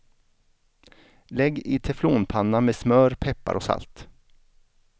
Lägg i teflonpanna med smör, peppar och salt.